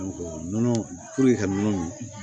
Nɔnɔ puruke ka nɔnɔ min